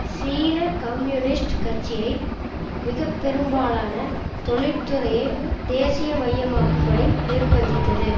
சீன கம்யூனிஸ்ட் கட்சியை மிக பெரும்பாலான தொழிற்துறையை தேசியமயமாக்கும்படி நிர்பந்தித்தது